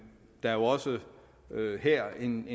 der er også her en